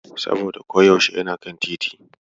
saboda ko yaushe yana kan titi.